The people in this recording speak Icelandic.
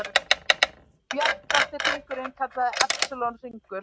Bjartasti hringurinn kallast Epsilon-hringur.